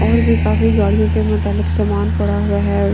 और भी काफी गाड़ियों के मुताबिक सामान पड़ा हुआ है।